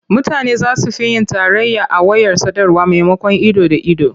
Mutane za su fi yin tarayya a wayar sadarwa maimakon ido da ido.